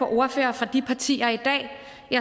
ordførere for de partier i dag